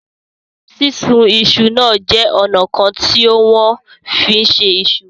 Sísun iṣu náà jẹ́ ọ̀nà kan tí wọ́n fi ń se iṣu.